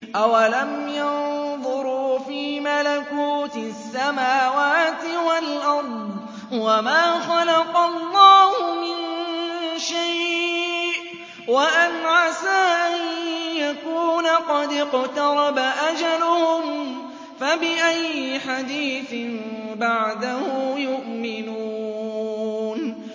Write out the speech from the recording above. أَوَلَمْ يَنظُرُوا فِي مَلَكُوتِ السَّمَاوَاتِ وَالْأَرْضِ وَمَا خَلَقَ اللَّهُ مِن شَيْءٍ وَأَنْ عَسَىٰ أَن يَكُونَ قَدِ اقْتَرَبَ أَجَلُهُمْ ۖ فَبِأَيِّ حَدِيثٍ بَعْدَهُ يُؤْمِنُونَ